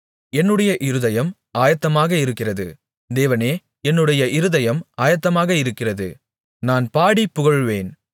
என்னுடைய இருதயம் ஆயத்தமாக இருக்கிறது தேவனே என்னுடைய இருதயம் ஆயத்தமாக இருக்கிறது நான் பாடிப் புகழுவேன்